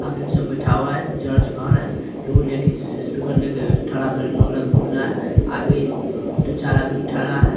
आदमी सब बैठा हुआ है चर्च घर हैएगो लेडीज स्पीकर लेके ठरा बोल रहा है आगे दू चार आदमी ठड़ा है ।